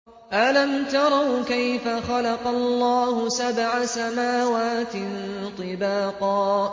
أَلَمْ تَرَوْا كَيْفَ خَلَقَ اللَّهُ سَبْعَ سَمَاوَاتٍ طِبَاقًا